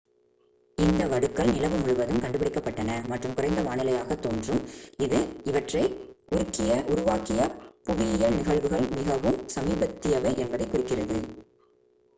இந்த வடுக்கள் நிலவு முழுவதும் கண்டுபிடிக்கப்பட்டன மற்றும் குறைந்த வானிலையாகத் தோன்றும் இது அவற்றை உருவாக்கிய புவியியல் நிகழ்வுகள் மிகவும் சமீபத்தியவை என்பதைக் குறிக்கிறது